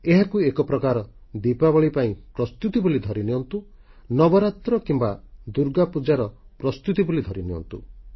ଏହାକୁ ଏକପ୍ରକାର ଦିପାବଳୀ ପାଇଁ ପ୍ରସ୍ତୁତି ବୋଲି ଧରିନିଅନ୍ତୁ ନବରାତ୍ର କିମ୍ବା ଦୁର୍ଗାପୂଜାର ପ୍ରସ୍ତୁତି ବୋଲି ଧରିନିଅନ୍ତୁ